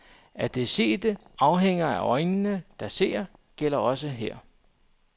At det sete afhænger af øjnene, der ser, gælder også her.